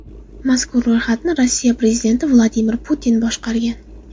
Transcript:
Mazkur ro‘yxatni Rossiya prezidenti Vladimir Putin boshqargan.